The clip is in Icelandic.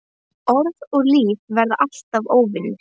Orð og líf verða alltaf óvinir.